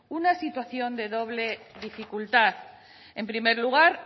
una situación de doble dificultar en primer lugar